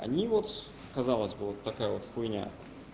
они вот казалось бы вот такая вот хуйня